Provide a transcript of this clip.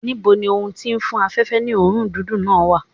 Níbo ni ohun tí ń fún afẹ̀fẹ́ ní òórùn dídùn náà wà?